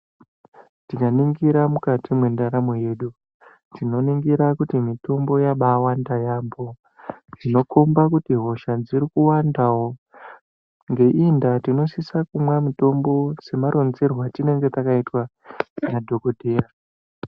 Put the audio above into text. Tikaningira mukati mwendaramo yedu tinoningira kuti mitombo yabawanda yambo zvinokomba kuti hosha dziri kuwandawo ngeiyi ndaa tinosisa kumwa mitombo semaronzerwe atinenge takaitwa nadhokodheya.